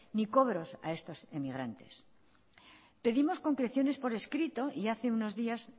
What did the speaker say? ni cobros a estos inmigrantes pedimos concreciones por escrito y hace unos días